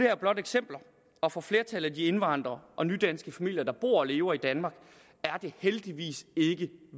her blot eksempler og for flertallet af de indvandrere og nydanske familier der bor og lever i danmark er det heldigvis ikke